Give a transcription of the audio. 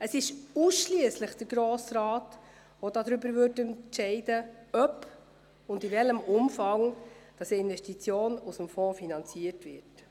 Es ist der Grosse Rat, der darüber entscheiden würde, ob und in welchem Umfang eine Investition aus dem Fonds finanziert wird.